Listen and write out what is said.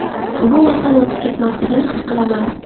Bu oson o‘tib ketmasligini his qilaman.